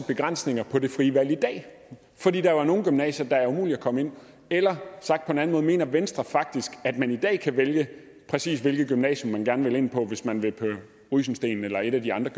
begrænsninger på det frie valg i dag fordi der jo er nogle gymnasier der er umulige at komme ind på eller sagt på en anden måde mener venstre faktisk at man i dag kan vælge præcis hvilket gymnasium man gerne vil ind på hvis man vil på rysensteen eller et af de andre